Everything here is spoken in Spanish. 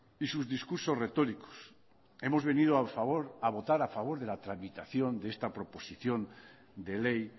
y sus discursos retóricos hemos venido a votar a favor de la tramitación de esta proposición de ley